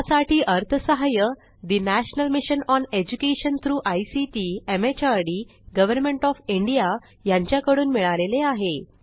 यासाठी अर्थसहाय्य national mission on education through ICT MHRD government of India यांच्याकडून मिळालेले आहे